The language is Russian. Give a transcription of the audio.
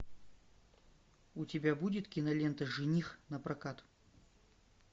у тебя будет кинолента жених напрокат